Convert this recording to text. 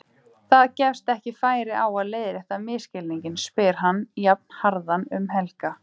Það gefst ekki færi á að leiðrétta misskilninginn, hann spyr jafnharðan um Helga.